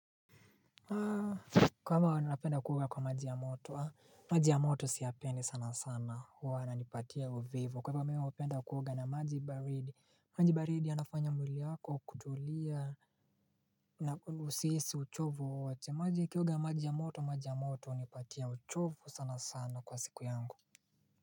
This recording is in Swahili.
Kama wanapenda kuoga kwa maji ya moto, maji ya moto siyapendi sana sana huwa na nipatia uvivu. Kwa hivyo mi hupenda kuoga na maji baridi, maji baridi yanafanya mwili wako kutulia na usihisi uchovu wowote. Maji kioga maji ya moto, maji ya moto, hunipatia uchovu sana sana kwa siku yangu.